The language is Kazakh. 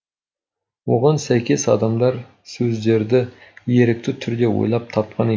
оған сәйкес адамдар сөздерді ерікті түрде ойлап тапқан екен